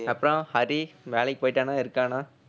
அப்புறம் ஹரி வேலைக்கு போயிட்டானா இருக்கானா